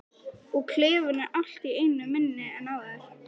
Og klefinn er allt í einu minni en áður.